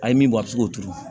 A ye min bɔ a bɛ se k'o turu